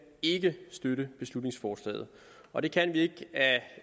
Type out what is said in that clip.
ikke støtte beslutningsforslaget og det kan vi